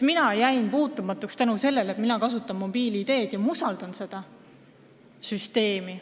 Mina jäin sellest puutumata tänu sellele, et mina kasutan mobiil-ID-d ja ma usaldan seda süsteemi.